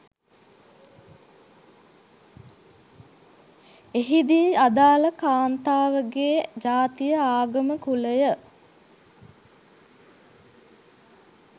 එහි දී ආදාළ කාන්තාවගේ ජාතිය ආගම කුලය